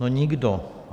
No nikdo.